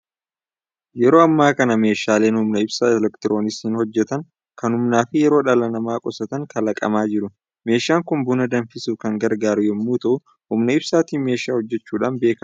Yeroo ammaa kana meeshaaleen humna ibsaa elektirooniksiin hojjetan, kan humnaa fi yeroo dhala namaa qusatan kalaqamaa jiru. Meeshaan kun buna danfisuuf kan gargaaru yommuu ta'u, humna ibsaatiin meeshaa hojjechuudhaan beekamudha.